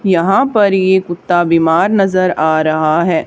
यहां पर ये कुत्ता बीमान नजर आ रहा है।